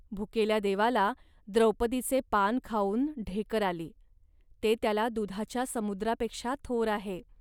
भुकेल्या देवाला द्रौपदीचे पान खाऊन ढेकर आली. ते त्याला दुधाच्या समुद्रापेक्षा थोर आहे